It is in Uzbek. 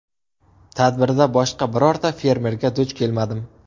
Tadbirda boshqa birorta fermerga duch kelmadim.